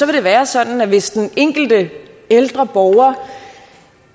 være sådan at hvis den enkelte ældre borger